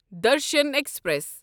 Darshan express